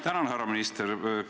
Tänan, härra minister!